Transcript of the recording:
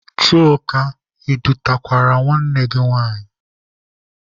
Chuka, ị dutekwara nwanne gị?